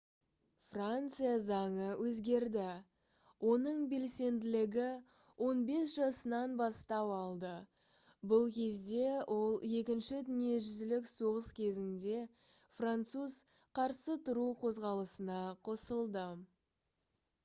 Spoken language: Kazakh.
франция заңы өзгерді оның белсенділігі 15 жасынан бастау алды бұл кезде ол екінші дүниежүзілік соғыс кезінде француз қарсы тұру қозғалысына қосылды